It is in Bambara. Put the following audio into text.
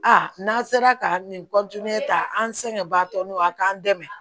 A n'an sera ka nin ta an sɛgɛn baatɔ n'o a k'an dɛmɛ